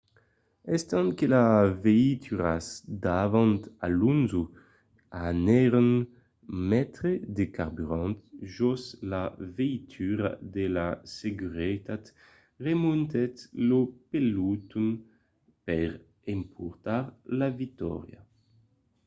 estant que las veituras davant alonso anèron metre de carburant jos la veitura de seguretat remontèt lo peloton per emportar la victòria